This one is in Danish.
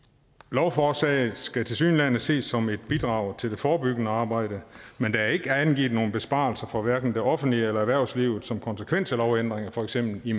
lovforslaget skal tilsyneladende ses som et bidrag til det forebyggende arbejde men der er ikke angivet nogen besparelser for hverken det offentlige eller erhvervslivet som konsekvens af lovændringen for eksempel i